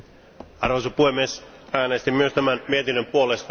Arvoisa puhemies, äänestin myös tämän mietinnön puolesta.